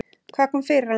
Hvað kom fyrir hann?